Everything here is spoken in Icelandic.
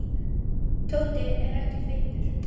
Tóti er ekkert feitur.